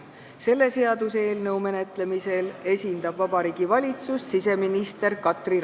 Selle seaduseelnõu menetlemisel esindab Vabariigi Valitsust siseminister Katri Raik.